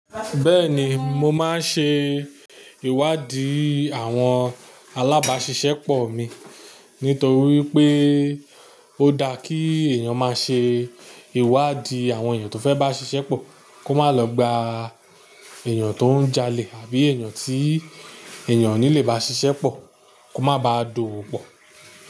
Bẹ́ẹ̀ni mo máa ń ṣe ìwádìí àwọn alábáṣiṣẹ́pọ̀ mi nítorí pé ó dá kí èèyàn má ṣe ìwádìí àwọn èèyàn tó fẹ́ bá ṣiṣẹ́ pọ̀ kó má lọ gba èèyàn tó ń jalè àbí èèyàn tí èèyàn ní lè bá ṣiṣẹ́ pọ̀ kó má ba dùú pọ̀